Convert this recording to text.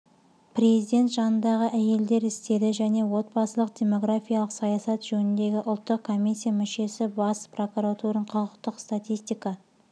президент жанындағы әйелдер істері және отбасылық-демографиялық саясат жөніндегі ұлттық комиссия мүшесі бас прокуратураның құқықтық статистика